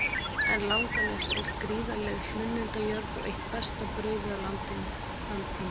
En Langanes er gríðarleg hlunnindajörð og eitt besta brauðið á landinu í þann tíma.